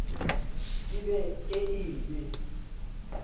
ke be e e be